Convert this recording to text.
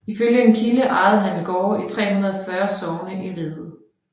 Ifølge en kilde ejede han gårde i 340 sogne i riget